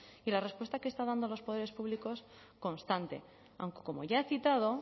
y la respuesta que están dando los poderes públicos constante aunque como ya he citado